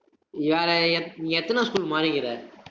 எத்~ நீ எத்தன school மாறிக்கிற